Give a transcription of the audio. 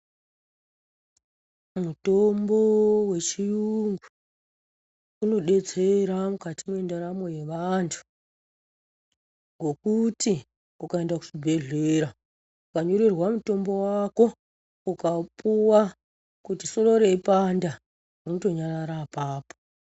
Mutombo wechirungu unodetsera mukati mwendaramo yevantu ngokuti ukaenda kuchibhehlera ukanyorerwa mutombo wako ukaupuwa kuti soro reipanda rinotonyarara apapo.